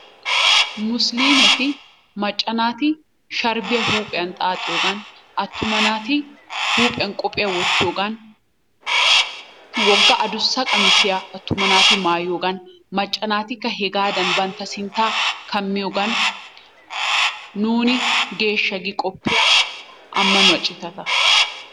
Musiliimeti macca naaati sharbbiya huuphiya xaaxxiyoogan atumma naati huuphiyan qophiya wottiyogan woga adussa qammisiy atuma naati maayiyoogan macca naatikka hegaadan bantta sintaa kammiyoogan nuuni geeshsha gi qoppiya ammanuwa citata